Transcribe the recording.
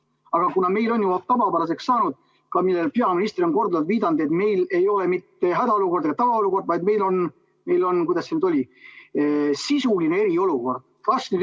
Aga meil on tavapäraseks saanud – sellele on peaminister korduvalt viidanud –, et meil ei ole mitte hädaolukord ega ka tavaolukord, vaid meil on, kuidas see nüüd oli, sisuline eriolukord.